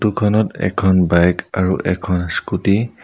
Photo খনত এখন bike আৰু এখন স্কুটী ।